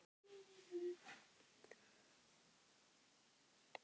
Gaman að þeim stóru.